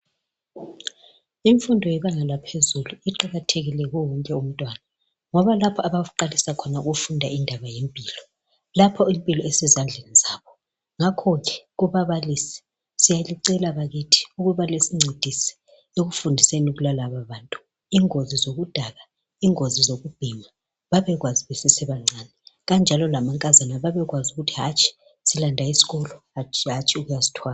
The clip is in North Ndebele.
Imfundo yebanga laphezulu iqakathekile kiwo wonke umntwana ngoba lapha abaqalisa khona ukufunda indaba yempilo lapha impilo isezandleni zabo ngakho ke kubabalisi siyalicela bakithi ukuba lisincedise ekufundiseni kwalaba bantu ingozi zokudakwa ingozi zokubhema babekwazi besasebancane kanjalo lamankazana bebekwazi ukuthi hatshi silanda isikolo hatshi ukuyazithwala.